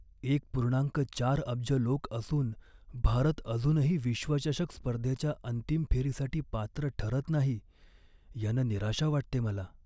एक पूर्णांक चार अब्ज लोक असून भारत अजूनही विश्वचषक स्पर्धेच्या अंतिम फेरीसाठी पात्र ठरत नाही, यानं निराशा वाटते मला.